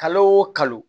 Kalo o kalo